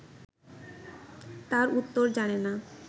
তার উত্তর জানেনা